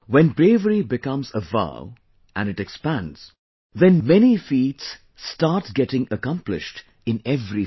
When bravery becomes a vow and it expands, then many feats start getting accomplished in every field